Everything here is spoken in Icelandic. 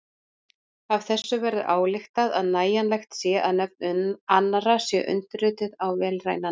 Af þessu verður ályktað að nægjanlegt sé að nöfn annarra séu undirrituð á vélrænan hátt.